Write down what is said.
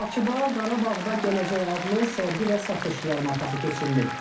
Bakıda Qarabağda Gələcək adlı sərgi və satış yarmarkası keçirilib.